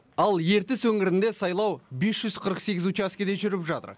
ал ертіс өңірінде сайлау бес жүз қырық сегіз учаскеде жүріп жатыр